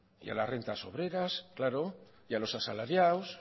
y a las rentas obreras claro y a los asalariados